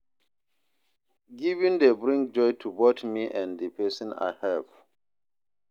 Giving dey bring joy to both me and the person I help.